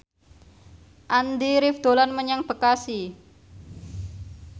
Andy rif dolan menyang Bekasi